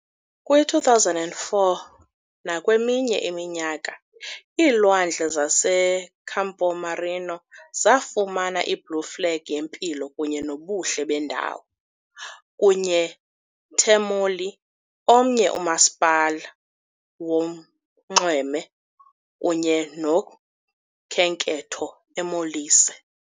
Kwi-2004 nakweminye iminyaka, iilwandle zaseCampomarino zafumana i-Blue Flag yempilo kunye nobuhle beendawo, kunye Termoli, omnye umasipala wonxweme kunye nokhenketho eMolise